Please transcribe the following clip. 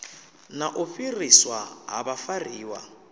na u fhiriswa ha vhafariwa